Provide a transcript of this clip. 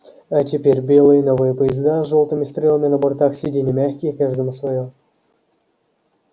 а теперь белые новые поезда с жёлтыми стрелами на бортах сиденья мягкие каждому своё